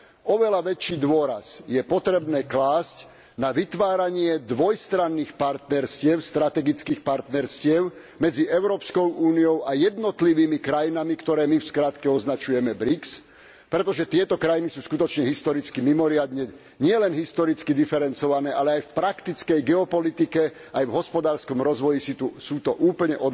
Oveľa väčší dôraz je potrebné klásť na vytváranie dvojstranných partnerstiev strategických partnerstiev medzi Európskou úniou a jednotlivými krajinami, ktoré my v skratke označujeme BRIC, pretože tieto krajiny sú skutočne historicky mimoriadne diferencované. Nielen historicky diferencované, ale aj v praktickej geopolitike, aj v hospodárskom rozvoji sú to úplne